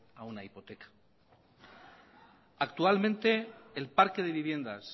a una hipoteca actualmente el parque de viviendas